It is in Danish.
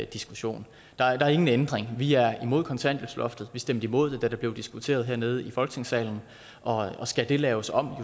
diskussion der er ingen ændring vi er imod kontanthjælpsloftet vi stemte imod det da det blev diskuteret hernede i folketingssalen og og skal det laves om og